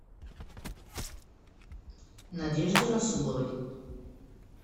надежде расуловой